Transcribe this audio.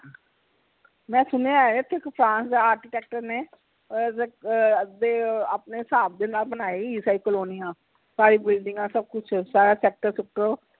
ਮੈਂ ਸੁਣਿਆ ਇਥੇ ਕਿਸਾਨ architecture ਨੇ ਅਹ ਅਹ ਅੱਧੇ ਆਪਣੇ ਹਿਸਾਬ ਨੇ ਨਾਲ ਬਣਾਈ ਕਈ ਕਾਲੋਨੀਆਂ ਬਿਲਡਿੰਗਾਂ ਸਬ ਕੁਛ ਸ਼ਾਇਦ sector ਸੁਕਟਰ